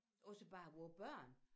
Også bare vore børn